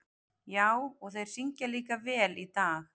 Já, og þeir syngja líka vel í dag.